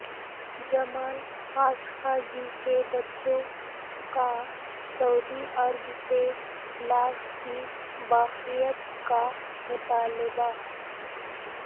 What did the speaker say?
جمال Khashoggi کے بچوں کا سعودی عرب سےلاش کی باقیات کا مطالبہ